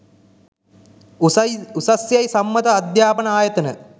උසස් යැයි සම්මත අධ්‍යාපන ආයතන